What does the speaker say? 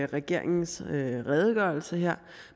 regeringens redegørelse her